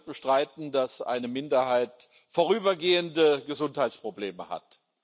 Niemand wird bestreiten, dass eine Minderheit vorübergehende Gesundheitsprobleme hat.